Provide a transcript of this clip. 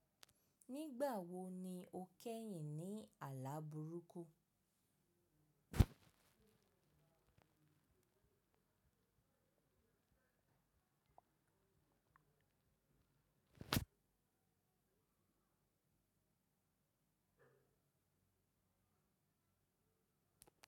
Nígbà wo ni o kẹ́yìn ní àlá burúkú?